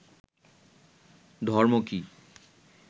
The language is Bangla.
ধর্ম কী